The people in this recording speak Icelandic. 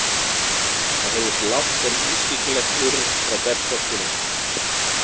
Það heyrðist lágt en ískyggilegt urr frá berserkjunum.